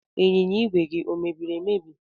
Ịnyịnya ìgwè gị ọ mebiri emebi?